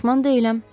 Peşman deyiləm.